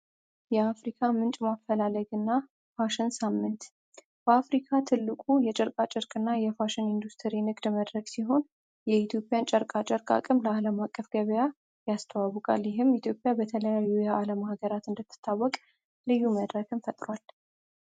የአፍሪካ ምንጭ ማፈላለግ እና ፋሽን ሳምንት በአፍሪካ ትልቁ የጨርቃጭርቅ እና የፋሽን ኢንዱስትሪ ንግድ መድረክ ሲሆን የኢትዮጵያን ጨርቃጭርቅ አቅም ለዓለም አቀፍ ገበያ ያስተዋውቃል ይህም። ይህም ኢትዮጵያ በተለያዩ ዓለም ህገራት እንድትታወቅ ልዩ መድረክም ፈጥሯል።